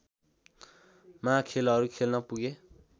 मा खेलहरू खेल्न पुगे